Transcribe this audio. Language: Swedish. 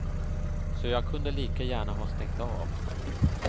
Så jag kunde lika gärna ha stängt av.